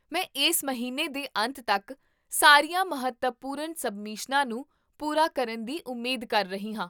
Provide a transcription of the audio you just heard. ਮੈਂ ਇਸ ਮਹੀਨੇ ਦੇ ਅੰਤ ਤੱਕ ਸਾਰੀਆਂ ਮਹੱਤਵਪੂਰਨ ਸਬਮਿਸ਼ਨਾਂ ਨੂੰ ਪੂਰਾ ਕਰਨ ਦੀ ਉਮੀਦ ਕਰ ਰਹੀ ਹਾਂ